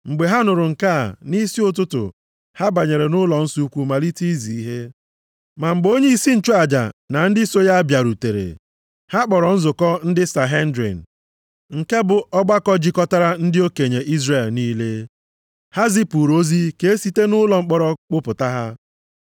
Mgbe ha nụrụ nke a, nʼisi ụtụtụ, ha banyere nʼụlọnsọ ukwu malite izi ihe. Ma mgbe onyeisi nchụaja na ndị soo ya bịarutere, ha kpọrọ nzukọ ndị Sanhedrin nke bụ ọgbakọ jikọtara ndị okenye Izrel niile. Ha zipụrụ ozi ka e site nʼụlọ mkpọrọ kpụta ha.